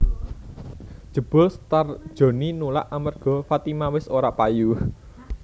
Jebul Star Joni nulak amerga Fatima wis ora payu